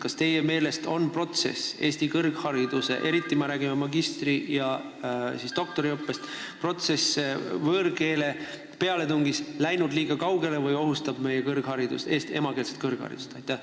Kas teie meelest on Eesti kõrghariduses, me räägime eriti magistri- ja doktoriõppest, võõrkeele pealetungi protsess läinud liiga kaugele või ohustab emakeelsest kõrgharidust?